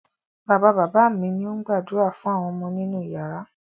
Bàbá-bàbá mi ni ó ń gbàdúrà fún àwọn ọmọ nínú ìyàrá.